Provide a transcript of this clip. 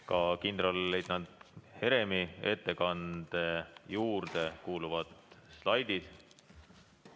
Ka kindralleitnant Heremi ettekande juurde kuuluvad slaidid.